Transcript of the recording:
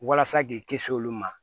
Walasa k'i kisi olu ma